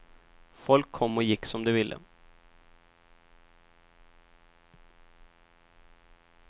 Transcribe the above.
Folk kom och gick som de ville.